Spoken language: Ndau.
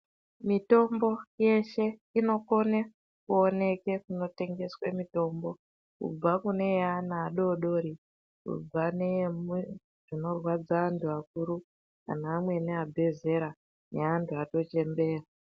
Mitombo yeshe inokone kuoneke kunotengeswe mitombo. Kubva kuneyeana adoodori kubva neyezvinorwadza antu akuru kana amweni abve zera neantu atochembera.